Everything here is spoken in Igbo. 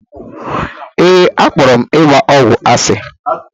Ee, akpọrọ m ịgba ọgwụ asị.